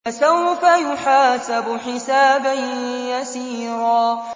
فَسَوْفَ يُحَاسَبُ حِسَابًا يَسِيرًا